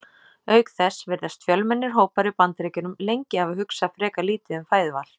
Auk þess virðast fjölmennir hópar í Bandaríkjunum lengi hafa hugsað frekar lítið um fæðuval.